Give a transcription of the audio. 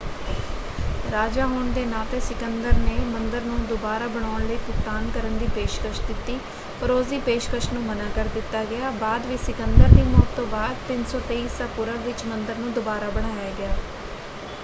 ਰਾਜਾ ਹੋਣ ਦੇ ਨਾਤੇ ਸਿਕੰਦਰ ਨੇ ਮੰਦਰ ਨੂੰ ਦੁਬਾਰਾ ਬਣਾਉਣ ਲਈ ਭੁਗਤਾਨ ਕਰਨ ਦੀ ਪੇਸ਼ਕਸ਼ ਦਿੱਤੀ ਪਰ ਉਸਦੀ ਪੇਸ਼ਕਸ਼ ਨੂੰ ਮਨ੍ਹਾਂ ਕਰ ਦਿੱਤਾ ਗਿਆ। ਬਾਅਦ ਵਿੱਚ ਸਿਕੰਦਰ ਦੀ ਮੌਤ ਤੋਂ ਬਾਅਦ 323 ਈਸਾ ਪੂਰਵ ਵਿੱਚ ਮੰਦਰ ਨੂੰ ਦੁਬਾਰਾ ਬਣਾਇਆ ਗਿਆ।